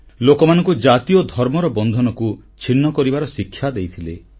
ଲୋକମାନଙ୍କୁ ଜାତି ଓ ଧର୍ମର ବନ୍ଧନକୁ ଛିନ୍ନ କରିବାର ଶିକ୍ଷା ଦେଇଥିଲେ